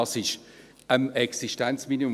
Dieses ist am Existenzminimum;